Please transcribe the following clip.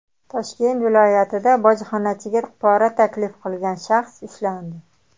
Toshkent viloyatida bojxonachiga pora taklif qilgan shaxs ushlandi.